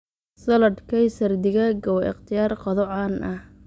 Salad Kaysar digaaga waa ikhtiyaar qado caan ah.